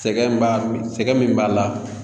Sɛgɛn b'a sɛgɛn min b'a la